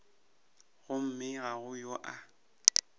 gomme ga go yo a